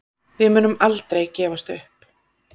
Við munum aldrei gefast upp